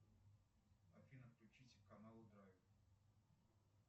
афина включите канал драйв